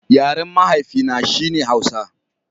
Yaren mahaifi na, shi ne Hausa